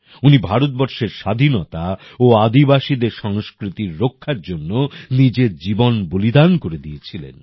উনি ভারতবর্ষের স্বাধীনতা ও আদিবাসীদের সংস্কৃতির রক্ষার জন্য নিজের জীবন বলিদান করে দিয়েছিলেন